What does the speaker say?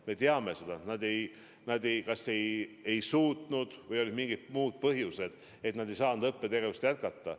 Me teame seda, et nad kas ei saanud hakkama või olid mingid muud põhjused, et nad ei saanud õppetegevust jätkata.